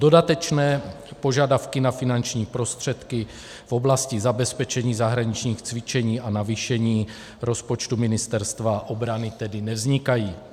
Dodatečné požadavky na finanční prostředky v oblasti zabezpečení zahraničních cvičení a navýšení rozpočtu Ministerstva obrany tedy nevznikají.